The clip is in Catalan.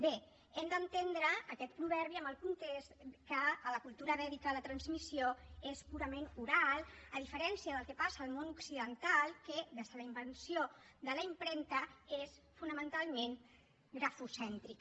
bé hem d’entendre aquest proverbi en el context que a la cultura vèdica la transmissió és purament oral a diferència del que passa al món occidental que des de la invenció de la impremta és fonamentalment grafocèntrica